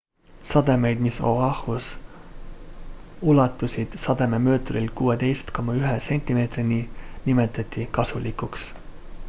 sademeid mis o'ahus ulatusid sadememõõturil 16,1 sentimeetrini nimetati kasulikuks